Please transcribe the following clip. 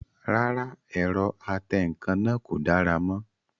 Rárá, ẹ̀rọ atẹǹkan náà kò dára mọ́